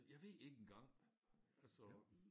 Jeg ved ikke engang altså